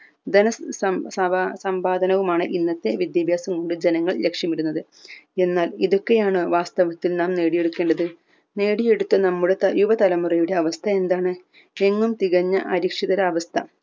ധന സം സംഭാ സമ്പാദനവുമാണ് ഇന്നത്തെ വിദ്യാഭ്യാസം കൊണ്ട് ജനങ്ങൾ ലക്ഷ്യമിടുന്നത് എന്നാൽ ഇതൊക്കെയാണ് വാസ്തവത്തിൽ നാം നേടി എടുക്കേണ്ടത് നേടി എടുത്ത നമ്മുടെ ത യുവ തലമുറയുടെ അവസ്‌ഥ എന്താണ് എങ്ങും തികഞ്ഞ അരിക്ഷിതര അവസ്‌ഥ